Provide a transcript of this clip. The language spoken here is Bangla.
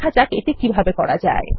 দেখা যাক কিভাবে করা যায়